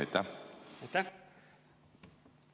Aitäh!